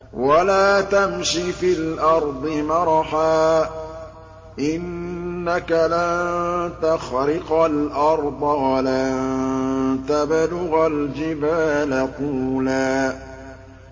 وَلَا تَمْشِ فِي الْأَرْضِ مَرَحًا ۖ إِنَّكَ لَن تَخْرِقَ الْأَرْضَ وَلَن تَبْلُغَ الْجِبَالَ طُولًا